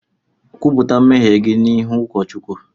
Kwupụta mmehie gị n’ihu ụ̣kọ̣̣ Chukwu!